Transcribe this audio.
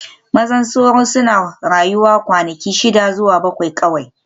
Maza sauro suna rayuwa kwanaki shida zuwa bakwai kawai